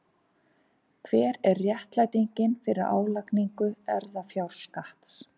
Hver er réttlætingin fyrir álagningu erfðafjárskatts?